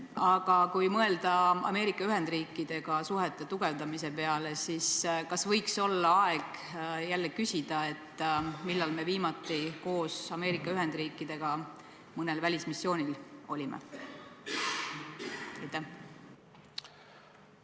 Aga kui mõelda Ameerika Ühendriikidega suhete tugevdamise peale, siis kas võiks olla aeg jälle küsida, millal me viimati koos Ameerika Ühendriikidega mõnel välismissioonil olime?